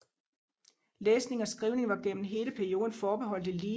Læsning og skrivning var gennem hele perioden forbeholdt eliten